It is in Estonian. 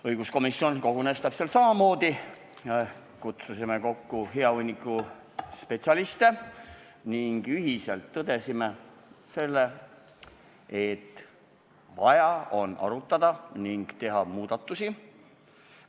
Õiguskomisjon kogunes täpselt samamoodi, et kutsusime kokku hea hunniku spetsialiste ning ühiselt tõdesime seda, et vaja on arutada ning teha muudatusi.